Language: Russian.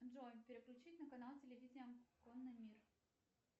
джой переключить на канал телевидения конный мир